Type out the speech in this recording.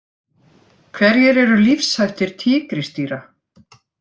Hverjir eru lífshættir tígrisdýra?